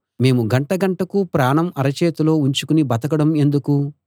మేము గంటగంటకు ప్రాణం అరచేతిలో ఉంచుకుని బతకడం ఎందుకు